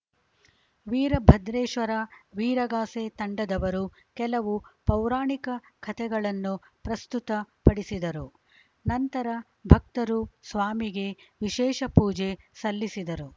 ವೀರಭದ್ರೇಶ್ವರ ವೀರಗಾಸೆ ತಂಡದವರು ಕೆಲವು ಪೌರಾಣಿಕ ಕಥೆಗಳನ್ನು ಪ್ರಸ್ತತ ಪಡಿಸಿದರು ನಂತರ ಭಕ್ತರು ಸ್ವಾಮಿಗೆ ವಿಶೇಷ ಪೂಜೆ ಸಲ್ಲಿಸಿದರು